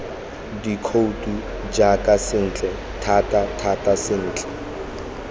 dikhouto jaaka sentle thatathata sentle